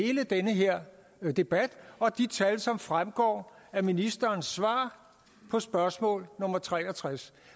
i hele den her debat og de tal som fremgår af ministerens svar på spørgsmål nummer tre og tres